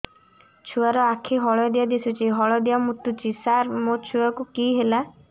ଛୁଆ ର ଆଖି ହଳଦିଆ ଦିଶୁଛି ହଳଦିଆ ମୁତୁଛି ସାର ମୋ ଛୁଆକୁ କି ହେଲା